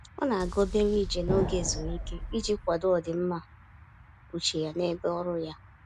Ọ na-aga obere ije n'oge ezumike iji kwado ọdịmma uche ya n'ebe ọrụ ya.